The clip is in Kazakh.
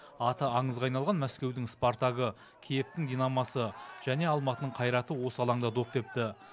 аты аңызға айналған мәскеудің спартагы киевтің динамосы және алматының қайраты осы алаңда доп тепті